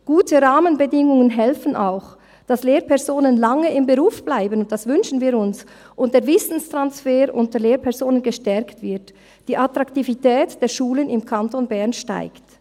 Gute Rahmenbedingungen helfen auch, dass Lehrpersonen lange im Beruf bleiben – das wünschen wir uns –, der Wissenstransfer unter Lehrpersonen gestärkt wird und die Attraktivität der Schulen im Kanton Bern steigt.